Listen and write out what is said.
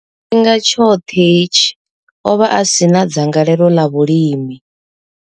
Tshifhinga tshoṱhe hetshi, o vha a si na dzangalelo ḽa vhulimi.